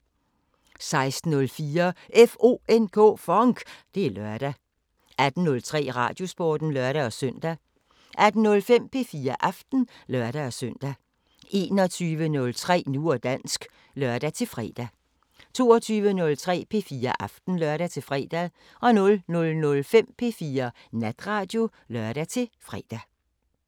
16:04: FONK! Det er lørdag 18:03: Radiosporten (lør-søn) 18:05: P4 Aften (lør-søn) 21:03: Nu og dansk (lør-fre) 22:03: P4 Aften (lør-fre) 00:05: P4 Natradio (lør-fre)